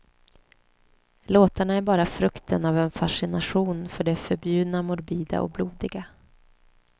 Låtarna är bara frukten av en fascination för det förbjudna, morbida och blodiga.